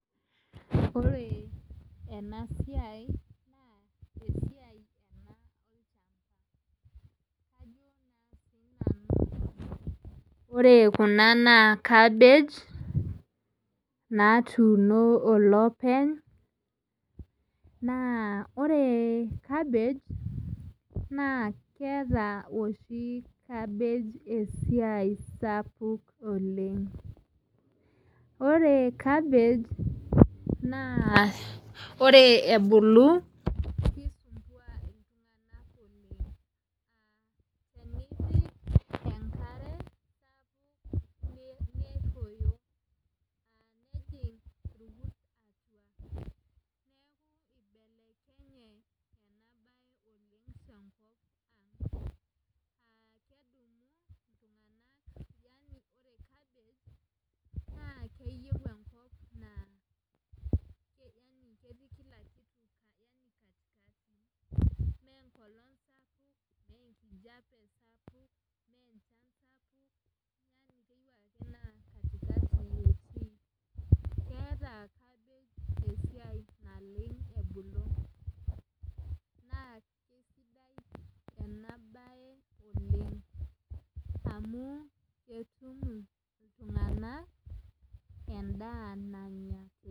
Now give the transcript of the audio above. Ore ena siai naa esiai ena ore kuna naa cabbage natuuno olopeny naa ore cabbage naa keata oshi cabbage esiai sapuk oleng ore cabbage naa ore ebolu enkare sapuk naa kidim irkut yaani ore cabbage naa keyieu enkop keeta cabbage esiai naleng ebulu amu ketur iltunganak endaa nanya.